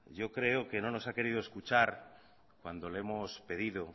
yo creo que no nos ha querido escuchar cuando le hemos pedido